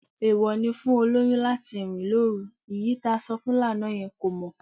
Èèwọ̀ ni fún olóyún láti rìn lóru, èyí tá sọ fún lánàá yẹn kò mọ